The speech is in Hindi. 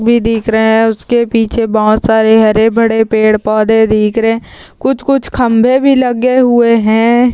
भी दिख रहे हैं | उसके पीछे बहुत सारे हरे भरे पेड़-पौधे दिख रहे हैं | कुछ कुछ खम्बे भी लगे हुए हैं ।